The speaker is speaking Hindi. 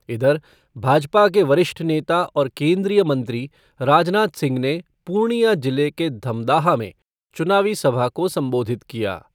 इधर, भाजपा के वरिष्ठ नेता और केन्द्रीय मंत्री राजनाथ सिंह ने पूर्णिया जिले के धमदाहा में चुनावी सभा को संबोधित किया।